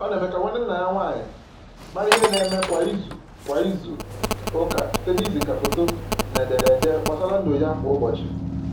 Ọ na eme ka nwanne nne ya nwanyị mara ihe na eme kwa izu kwa izu ụka site na iziga foto na edere ede gbasara ndụ ya kwa ụbọchị